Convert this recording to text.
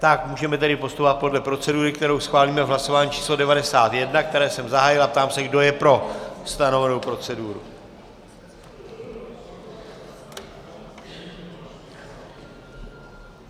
Tak můžeme tedy postupovat podle procedury, kterou schválíme v hlasování číslo 91, které jsem zahájil, a ptám se, kdo je pro stanovenou proceduru.